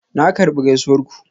Na karbi gaisuwar ku.